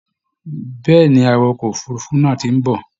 Bẹ́ẹ̀ ni, awakọ̀ òfurufú náà ti ń bọ̀